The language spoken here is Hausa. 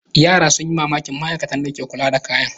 Yara sun yi mamakin ma'aikatan da ke kula da kayan.